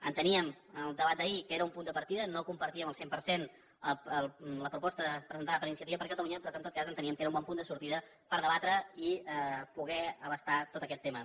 enteníem en el debat d’ahir que era un punt de partida no compartíem al cent per cent la proposta presentada per iniciativa per catalunya però que en tot cas nosaltres enteníem que era un bon punt de sortida per debatre i poder abastar tots aquests temes